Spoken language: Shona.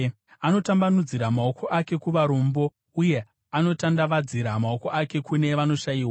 Anotambanudzira maoko ake kuvarombo, uye anotandavadzira maoko ake kune vanoshayiwa.